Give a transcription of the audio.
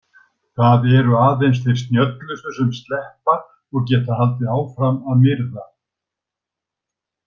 Það eru aðeins þeir snjöllustu sem sleppa og geta haldið áfram að myrða.